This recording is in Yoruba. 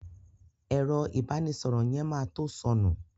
Ẹ̀rọ ìbánísọ̀rọ̀ yẹn ma to sọnù